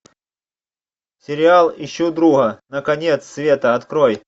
сериал ищу друга на конец света открой